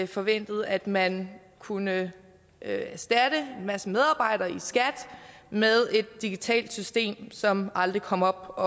forventet at man kunne erstatte en masse medarbejdere i skat med et digitalt system som aldrig kom op